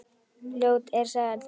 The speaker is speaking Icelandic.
Ljót er sagan.